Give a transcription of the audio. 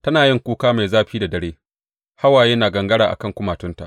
Tana yin kuka mai zafi da dare, hawaye na gangara a kan kumatunta.